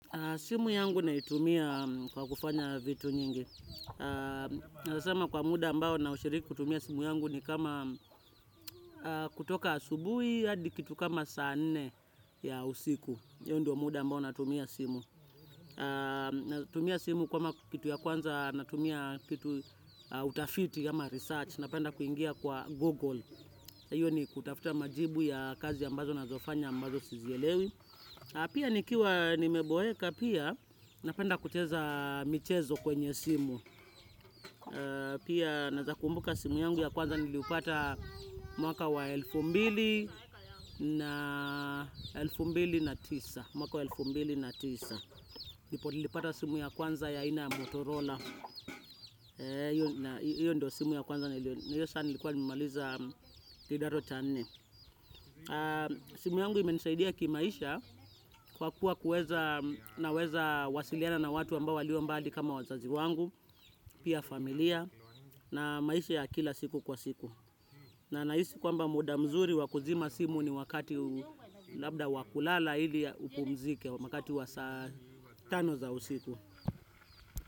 Simu yangu naitumia kwa kufanya vitu nyingi. Na zama kwa muda ambao na ushiriki kutumia simu yangu ni kama kutoka asubuhi, hadi kitu kama saa nne ya usiku. Hiyo ndio muda ambao natumia simu. Natumia simu kwa kitu ya kwanza natumia kitu utafiti ama research. Napenda kuingia kwa Google. Iyo ni kutafuta majibu ya kazi ambazo nazofanya ambazo sizielewi. Pia nikiwa nimeboeka pia, napenda kucheza michezo kwenye simu. Pia naeza kumbuka simu yangu ya kwanza niliupata mwaka wa elfu mbili na elfu mbili na tisa. Mwaka wa elfu mbili na tisa. Ndipo nilipata simu ya kwanza ya ina Motorola. Iyo ndo simu ya kwanza na iyo sana nilikuwa nimaliza kidato cha nne. Simu yangu imenisaidia kimaisha kwa kuwa kuweza naweza wasiliana na watu ambao walio mbali kama wazazi wangu. Pia familia na maisha ya kila siku kwa siku. Na nahisi kwamba muda mzuri wakuzima simu ni wakati huu labda wakulala ili upumzike wakati wa saa tano za usiku.